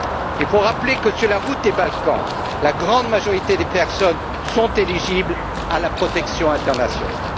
Il faut rappeler que sur la route des Balkans, la grande majorité des personnes sont éligibles à la protection internationale.